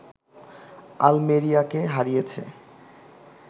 আলমেরিয়াকে হারিয়েছে